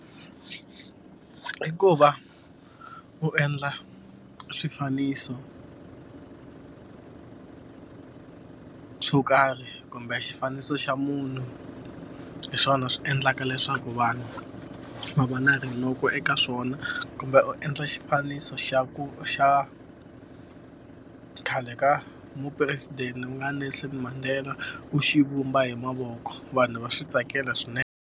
I ku va u endla swifaniso swo karhi kumbe xifaniso xa munhu, hi swona swi endlaka leswaku vanhu va va na rinoko eka swona. Kumbe u endla xifaniso xa ku xa khale ka mupresidente ku nga Nelson Mandela, u xivumba hi mavoko. Vanhu va swi tsakela swinene.